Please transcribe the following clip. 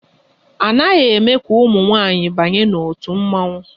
A naghị eme ka ụmụ nwanyị banye n'òtù mmọnwụ